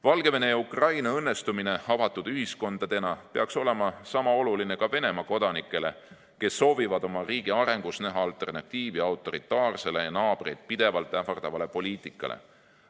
Valgevene ja Ukraina õnnestumine avatud ühiskondadena peaks olema niisama oluline ka Venemaa kodanikele, kes soovivad oma riigi arengus näha alternatiivi autoritaarsele ja naabreid pidevalt ähvardavale poliitikale.